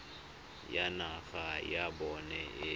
le naga ya bona e